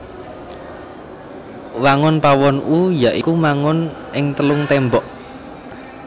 Wangun pawon U ya iku mangon ing telung témbok